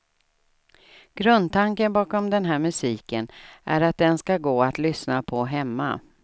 Grundtanken bakom den här musiken är att den ska gå att lyssna på hemma.